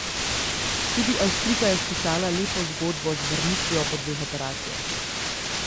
Tudi Avstrijka je spisala lepo zgodbo z vrnitvijo po dveh operacijah.